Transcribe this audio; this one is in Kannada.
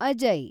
ಅಜಯ್